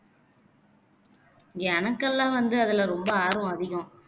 எனக்கெல்லாம் வந்து அதுலே ரொம்ப ஆர்வம் அதிகம்